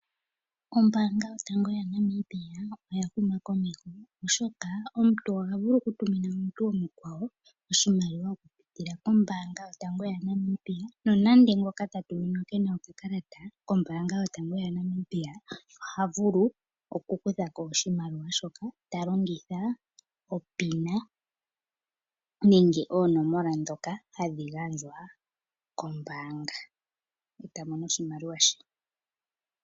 Ombaanga yotango yaNamibia oyahuma kosho. Oshoka omuntu ohavulu okumina omutu omkwawo oshimaliwa okupitila mombaanga yotango yaNamibia nonande ngokata tuminwa kena okakalata kombaanga yotango yaNamibia ohavulu okukuthako oshimaliwa shoka tailongithwa opina nenge oonomola dhoka hadhigandjwa kombaanga ta mono oshimaliwa she.